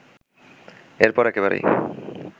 এরপর একেবারেই